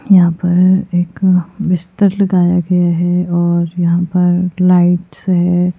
यहां पर एक बिस्तर लगाया गया है और यहां पर लाइट्स है।